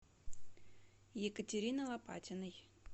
екатерины лопатиной